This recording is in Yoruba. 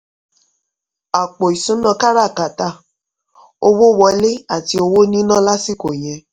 àpò ìṣúná kára kátà: owó wọlé àti owó níná lásìkò yẹn.